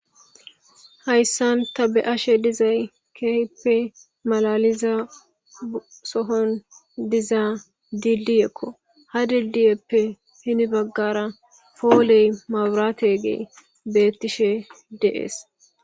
Hayssan ta be'ashe dizay keeheppe malaliza sohon dizaa dilli ekko ha dildiyeppe hini baggara fooley mawuraate gee beettishe deees.